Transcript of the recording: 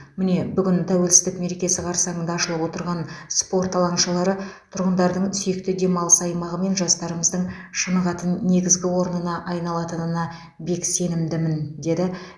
міне бүгін тәуелсіздік мерекесі қарсаңында ашылып отырған спорт алаңшалары тұрғындардың сүйікті демалыс аймағы мен жастарымыздың шынығатын негізгі орнына айналатынына бек сенімдімін деді